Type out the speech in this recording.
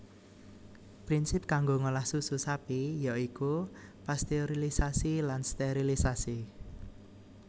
Prinsip kanggo ngolah susu sapi ya iku pasteurilisasi lan sterilisasi